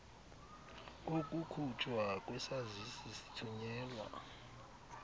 kokukhutshwa kwesazisi sithunyelwa